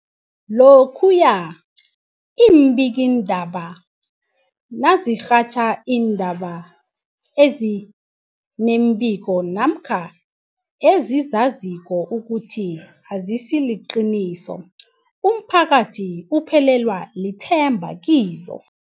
Lokhuya iimbikiindaba nazirhatjha iindaba ezi nembiko namkha ezizaziko ukuthi azisiliqiniso, umphakathi uphelelwa lithemba kizo.